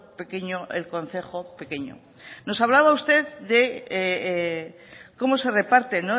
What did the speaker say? pequeño el concejo pequeño nos hablaba usted de cómo se reparte